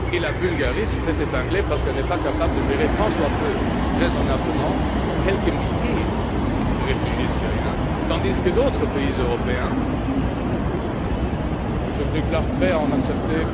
Et la Bulgarie se fait épingler parce qu'elle n'est pas capable de gérer plus ou moins raisonnablement quelques milliers de réfugiés syriens, tandis que d'autres pays européens se déclarent prêts à en accepter